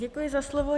Děkuji za slovo.